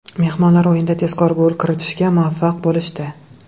Mehmonlar o‘yinda tezkor gol kiritishga muvaffaq bo‘lishdi.